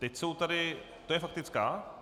Teď jsou tady - to je faktická?